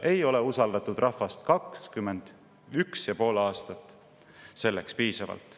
Ei ole usaldatud rahvast 21 ja pool aastat selleks piisavalt.